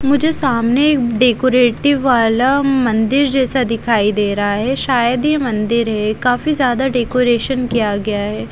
मुझे सामने डेकोरेटिव वाला मंदिर जैसा दिखाई दे रहा है शायद ही मंदिर है काफी ज्यादा डेकोरेशन किया गया है।